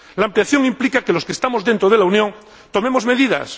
La ampliación implica que los que estamos dentro de la Unión tomemos medidas.